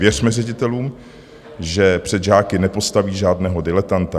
Věřme ředitelům, že před žáky nepostaví žádného diletanta.